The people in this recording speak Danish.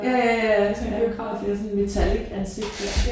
Ja ja ja ja ja ja det sådan et metallic ansigt der